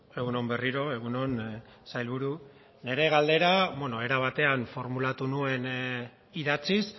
egun on berriro egun on sailburu nire galdera era batean formulatu nuen idatziz